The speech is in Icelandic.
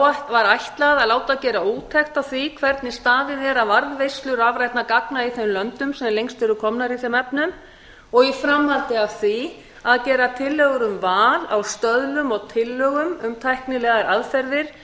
var ætlað að láta gera úttekt á því hvernig staðið er að varðveislu rafrænna gagna í þeim löndum sem lengst eru komin í þeim efnum og í framhaldi af því að gera tillögur um val á stöðlum og tillögur um tæknilegar aðferðir